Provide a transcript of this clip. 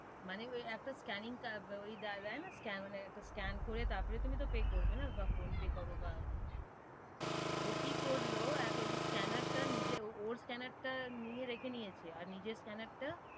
মানে একটা scanning ওই দেয় না, মানে scan করে তার পরে তো তুমি pay করবে না, বা ফোন পে করো বা ও কি করলো এক ওই scanner টা নিজের, ওর scanner টা নিয়ে রেখে নিয়েছে, আর নিজের scanner টা,